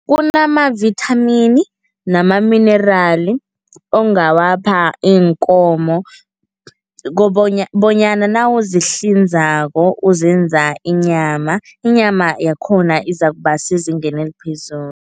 Kunamavithamini nama-mineral ongawapha iinkomo bonyana nawuzihlinzako uzenza inyama, inyama yakhona izakuba sezingeni eliphezulu.